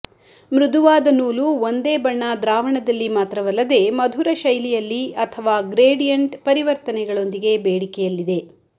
ಮೃದುವಾದ ನೂಲು ಒಂದೇ ಬಣ್ಣ ದ್ರಾವಣದಲ್ಲಿ ಮಾತ್ರವಲ್ಲದೇ ಮಧುರ ಶೈಲಿಯಲ್ಲಿ ಅಥವಾ ಗ್ರೇಡಿಯಂಟ್ ಪರಿವರ್ತನೆಗಳೊಂದಿಗೆ ಬೇಡಿಕೆಯಲ್ಲಿದೆ